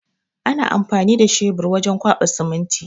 Ana amfani da shabur wajen kwaɓa siminti.